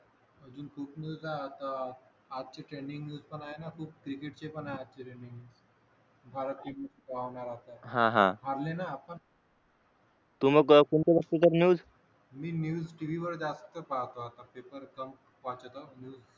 मी news TV वर जास्त पाहतो पेपर पण वाचतो